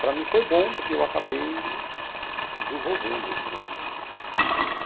Para mim, foi bom, porque eu acabei desenvolvendo esse lado, né?